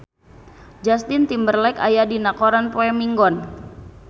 Justin Timberlake aya dina koran poe Minggon